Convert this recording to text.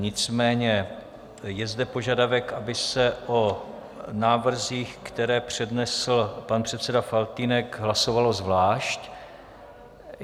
Nicméně je zde požadavek, aby se o návrzích, které přednesl pan předseda Faltýnek, hlasovalo zvlášť.